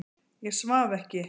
Ég svaf ekki.